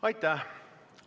Aitäh!